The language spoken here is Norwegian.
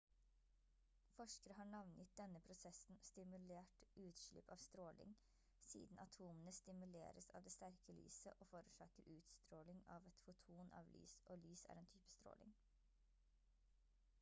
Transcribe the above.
forskere har navngitt denne prosessen «stimulert utslipp av stråling» siden atomene stimuleres av det sterke lyset og forårsaker utstråling av et foton av lys og lys er en type stråling